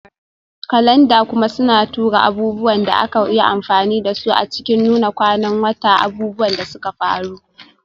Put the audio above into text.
Kalanda kuma suna tura abubuwan da aka yi amfani da su a cikin Nuna kwanan wata, abubuwan da suka faru,